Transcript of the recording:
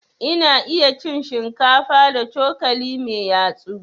Ina iya cin shinkafa da cokali mai yatsu.